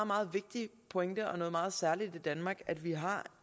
meget vigtig pointe og noget meget særligt ved danmark at vi har